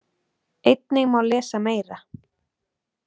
Einnig má lesa meira.